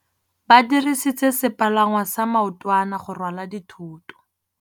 Ba dirisitse sepalangwasa maotwana go rwala dithôtô.